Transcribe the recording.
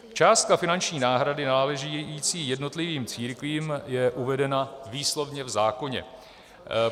Částka finanční náhrady náležící jednotlivým církvím je uvedena výslovně v zákoně.